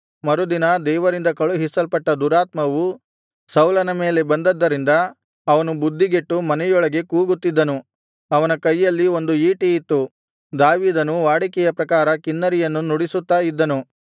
ಮರುದಿನ ದೇವರಿಂದ ಕಳುಹಿಸಲ್ಪಟ್ಟ ದುರಾತ್ಮವು ಸೌಲನ ಮೇಲೆ ಬಂದದ್ದರಿಂದ ಅವನು ಬುದ್ಧಿಗೆಟ್ಟು ಮನೆಯೊಳಗೆ ಕೂಗುತ್ತಿದ್ದನು ಅವನ ಕೈಯಲ್ಲಿ ಒಂದು ಈಟಿ ಇತ್ತು ದಾವೀದನು ವಾಡಿಕೆಯ ಪ್ರಕಾರ ಕಿನ್ನರಿಯನ್ನು ನುಡಿಸುತ್ತಾ ಇದ್ದನು